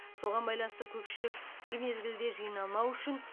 соған байланысты көпшілік бір мезгілде жиналмау үшін